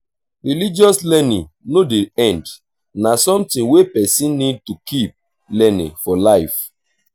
religious learning no dey end na something wey person need to keep learning for life